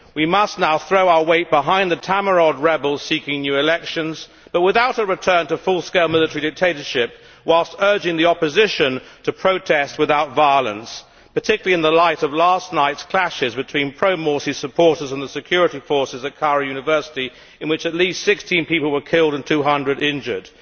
We must now throw our weight behind the Tamarod rebels seeking new elections but without a return to full scale military dictatorship whilst urging the opposition to protest without violence, particularly in the light of last night's clashes between pro Morsi supporters and the security forces at Cairo University, in which at least 16 people were killed and 200 injured.